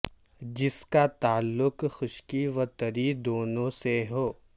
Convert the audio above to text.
جس کا تعلق خشکی و تری دونوں سے ہو